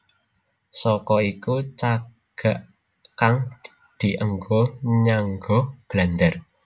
Saka iku cagak kang dienggo nyangga blandar